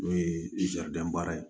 N'o ye baara ye